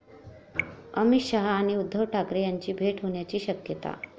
अमित शहा आणि उद्धव ठाकरे यांची भेट होण्याची शक्यता